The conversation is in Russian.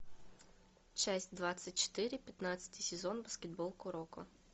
часть двадцать четыре пятнадцатый сезон баскетбол куроко